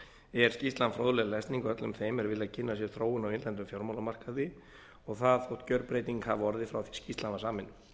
er skýrslan fróðleg lesning öllum þeim er vilja kynna sér þróun á innlendum fjármálamarkaði og það þótt gjörbreyting hafi orðið frá því skýrslan var samin